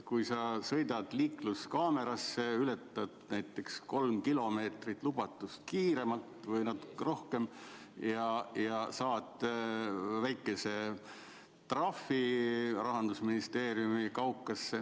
Kui sa sõidad liikluskaamera eest läbi ja ületad näiteks 3 km/h võrra või natuke rohkem lubatud kiirust, siis saad väikese trahvi, mis tuleb maksta Rahandusministeeriumi kaukasse.